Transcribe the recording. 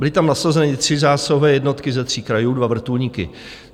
Byly tam nasazeny tři zásahové jednotky ze tří krajů, dva vrtulníky.